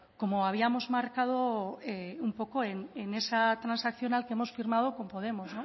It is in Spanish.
como habíamos marcado un poco en esa transaccional que hemos firmado con podemos